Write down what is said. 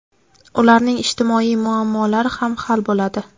ularning ijtimoiy muammolari ham hal bo‘ladi.